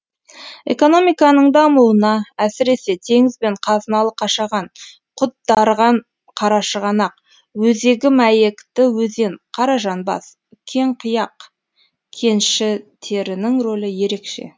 экономиканың дамуына әсіресе теңіз бен қазыналы қашаған құт дарыған қарашығанақ өзегі мәйекті өзен қаражанбас кеңқияқ кеншітерінің рөлі ерекше